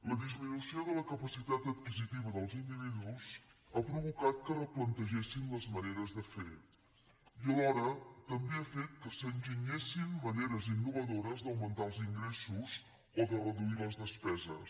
la disminució de la capacitat adquisitiva dels individus ha provocat que es replantegessin les maneres de fer i alhora també ha fet que s’enginyessin maneres innovadores d’augmentar els ingressos o de reduir les despeses